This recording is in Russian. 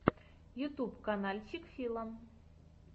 ютьюб канальчик фила